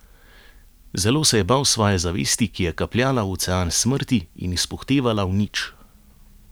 Zelo se je bal svoje zavesti, ki je kapljala v ocean smrti in izpuhtevala v nič.